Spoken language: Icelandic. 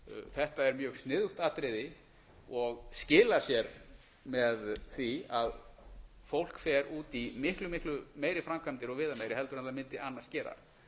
þetta er mjög sniðugt atriði og skilar sér með því að fólk fer út í miklu miklu meiri framkvæmdir og viðameiri heldur en það mundi annars gera